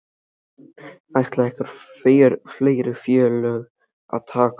Ætla einhver fleiri félög að taka þátt?